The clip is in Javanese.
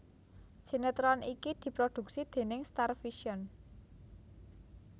Sinetron iki diprodhuksi déning Starvision